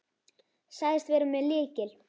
Sagðist vera með lykil.